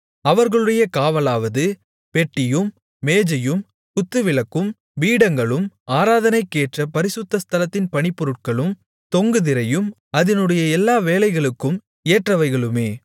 அவர்களுடைய காவலாவது பெட்டியும் மேஜையும் குத்துவிளக்கும் பீடங்களும் ஆராதனைக்கேற்ற பரிசுத்த ஸ்தலத்தின் பணிப்பொருட்களும் தொங்கு திரையும் அதினுடைய எல்லா வேலைகளுக்கும் ஏற்றவைகளுமே